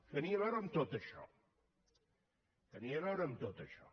tenia a veure amb tot això tenia a veure amb tot això